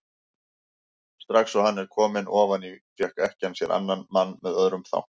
Strax og hann var kominn ofan í fékk ekkjan sér annan mann með öðrum þanka.